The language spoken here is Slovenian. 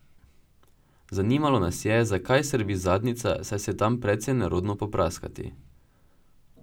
Zanimalo nas je, zakaj srbi zadnjica, saj se je tam precej nerodno popraskati.